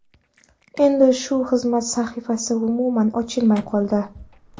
Endi shu xizmat sahifasi umuman ochilmay qoldi.